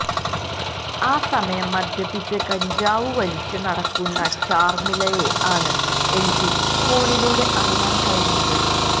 ആ സമയം മദ്യപിച്ച് കഞ്ചാവു വലിച്ചു നടക്കുന്ന ചാർമിളയെ ആണ് എനിക്ക് ഫോണിലൂടെ അറിയാൻ കഴിഞ്ഞത്